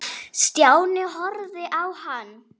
Stjáni horfði á hann.